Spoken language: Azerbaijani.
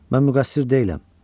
Mən müqəssir deyiləm.